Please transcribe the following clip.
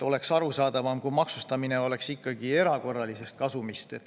Oleks arusaadavam, kui maksustataks ikkagi erakorralist kasumit.